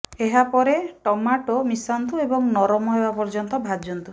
ଏହା ପରେ ଟମାଟୋ ମିଶାନ୍ତୁ ଏବଂ ନରମ ହେବା ପର୍ଯ୍ୟନ୍ତ ଭାଜନ୍ତୁ